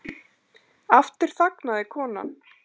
Aftur þagnaði konan.